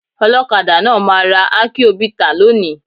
Olọ́kadà náà máa ra akion bità lónìí.